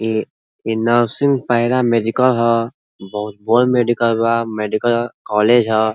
इ इ nursing paramedical ह। बहुत बोड़ मेडिकल बा। मेडिकल कॉलेज ह।